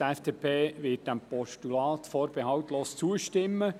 Die FDP wird diesem Postulat vorbehaltslos zustimmen.